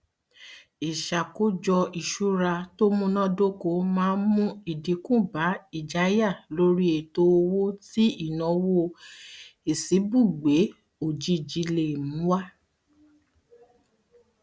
ìṣàkójọ ìṣura tó múnádóko a máa mú ìdinku bá ìjáyà lóri ètò owó tí ìnáwó ìṣíbùgbé òjijì lè mú wá